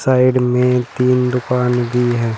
Side में तीन दुकान भी है।